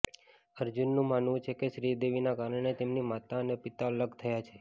અર્જુનનું માનવું છે કે શ્રીદેવીના કારણે તેમની માતા અને પિતા અલગ થયા છે